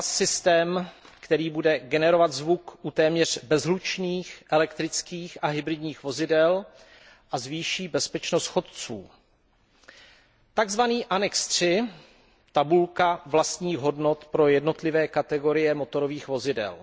AVAS systém, který bude generovat zvuk u téměř bezhlučných, elektrických a hybridních vozidel a zvýší bezpečnost chodců a příloha III, tabulka vlastních hodnot pro jednotlivé kategorie motorových vozidel.